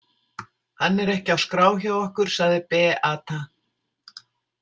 Hann er ekki á skrá hjá okkur, sagði Beata.